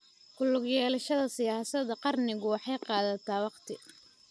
Ku lug yeelashada siyaasadda qaranku waxay qaadataa waqti.